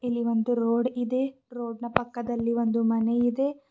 ಇಲ್ಲಿ ಒಂದು ರೋಡ್ ಇದೆ ರೋಡ್ ನ ಪಕ್ಕದಲ್ಲಿ ಒಂದು ಮನೆ ಇದೆ.